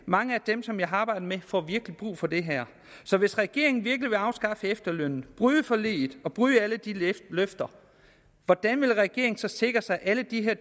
mange af dem som jeg arbejdede sammen får virkelig brug for det her så hvis regeringen virkelig vil afskaffe efterlønnen bryde forliget og bryde alle de løfter hvordan vil regeringen så sikre sig at alle de